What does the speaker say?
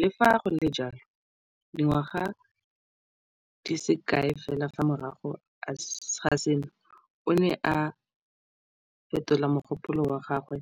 Le fa go le jalo, dingwaga di se kae fela morago ga seno, o ne a fetola mogopolo wa gagwe